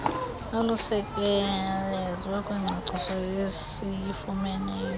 olusekelezwe kwingcaciso esiyifumeneyo